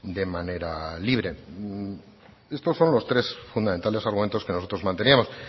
de manera libre estos son los tres fundamentales argumentos que nosotros manteníamos